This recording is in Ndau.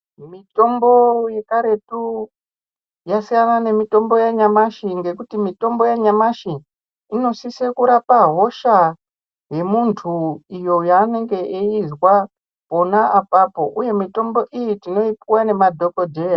Mitombo yekaretu yasiya na nemitombo yanyamashi ngekuti mitombo yanyamashi imosiso kurape hosha yemuntu yaanenge echizwa pona apapo uye mitombo iyi tinoyipiwa nemadhokodheya.